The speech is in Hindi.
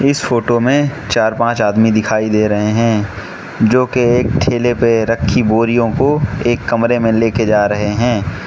इस फोटो मे चार पांच आदमी दिखाई दे रहे हैं जो के एक ठेले पे रखी बोरियों को एक कमरे मे लेके जा रहे है।